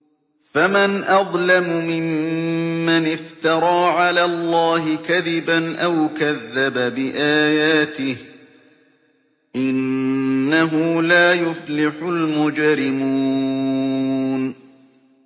فَمَنْ أَظْلَمُ مِمَّنِ افْتَرَىٰ عَلَى اللَّهِ كَذِبًا أَوْ كَذَّبَ بِآيَاتِهِ ۚ إِنَّهُ لَا يُفْلِحُ الْمُجْرِمُونَ